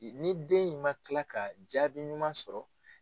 Ni den in man kila ka jaabi ɲuman sɔrɔ.